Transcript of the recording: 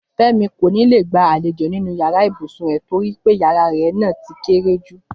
Fẹ́mi kò ní lè gba àlejò nínú yàrá ibùsùn rẹ̀ torí pé yàrá náà ti kéré jù